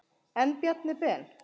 En Bjarni Ben.